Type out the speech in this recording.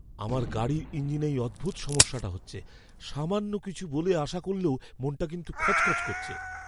আমার গাড়ির ইঞ্জিনে এই অদ্ভুত সমস্যাটা হচ্ছে। সামান্য কিছু বলেই আশা করলেও মনটা কিন্তু খচখচ করছে।